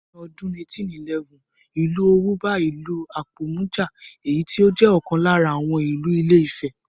Ní ọdún 1811, Ìlú Òwù bá ìlú Apòmù jà, èyí tó jẹ́ ọ̀kan lára àwọn ìlú ilé ifẹ̀